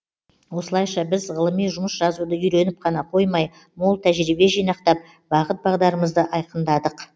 осылайша біз ғылыми жұмыс жазуды үйреніп қана қоймай мол тәжірибе жинақтап бағыт бағдарымызды айқындадық